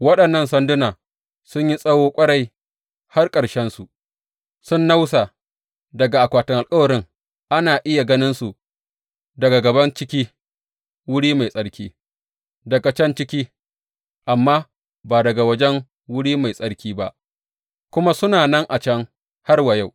Waɗannan sanduna sun yi tsawo ƙwarai har ƙarshensu sun nausa daga akwatin alkawarin, ana iya ganinsu daga gaban ciki wuri mai tsarki na can ciki amma ba daga waje Wuri Mai Tsarki ba; kuma suna nan a can har wa yau.